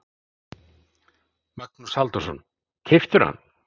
Magnús Halldórsson: Keyptirðu hann?